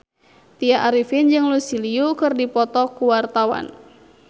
Tya Arifin jeung Lucy Liu keur dipoto ku wartawan